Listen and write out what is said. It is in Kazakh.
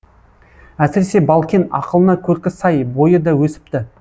әсіресе балкен ақылына көркі сай бойы да өсіпті